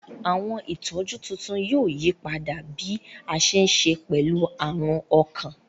Awọn itọju tuntun yoo yipada bi a ṣe ṣe pẹlu arun ọkan.